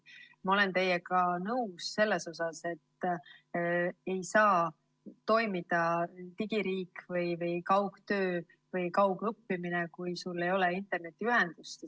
Ma olen teiega nõus selles, et ei saa toimida digiriik või kaugtöö või kaugõppimine, kui ei ole internetiühendust.